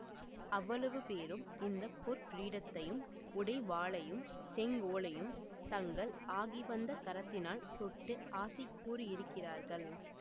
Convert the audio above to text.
அவ்வளவு பேரும் இந்த பொற் கிரீடத்தையும் உடைவாளையும் செங்கோலையும் தங்கள் ஆகிவந்த கரத்தினால் தொட்டு ஆசி கூறியிருக்கிறார்கள்